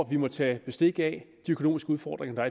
vi må tage bestik af de økonomiske udfordringer der